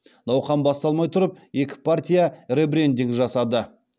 науқан басталмай тұрып екі партия ребрендинг жасады